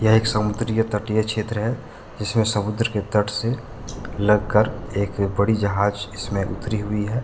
यह एक समुद्रीय तटीय क्षेत्र है जिसमें समुद्र के तट से लग कर एक बड़ी जहाज इसमें उतरी है।